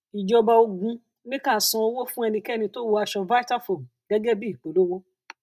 ìjọba ogun ní ká san owó fún ẹnikẹni tó wọ aṣọ vitafoam gẹgẹ bí ìpolówó